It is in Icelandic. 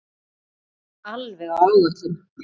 Þú ert alveg á áætlun.